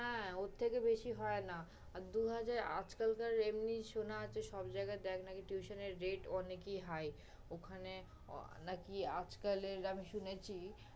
হ্যাঁ ওর থেকে বেশি হয় না, আর দুই হাজার আজকাল কার এমনি শোনা আছে সব জায়গায় দেখ নাকি tuition এর rate অনেকেই high । ওখানে নাকি আজকালের আমি শুনেছি